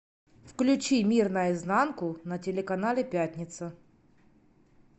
включи мир наизнанку на телеканале пятница